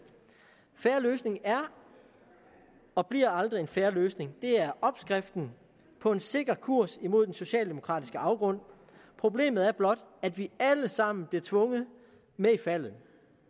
en fair løsning er og bliver aldrig en fair løsning det er opskriften på en sikker kurs mod den socialdemokratiske afgrund problemet er blot at vi alle sammen bliver tvunget med i faldet